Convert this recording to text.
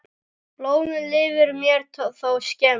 Blómið lifir mér þó skemur.